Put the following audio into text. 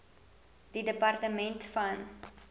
die departement van